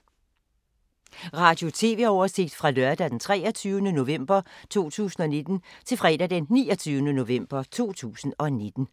Radio/TV oversigt fra lørdag d. 23. november 2019 til fredag d. 29. november 2019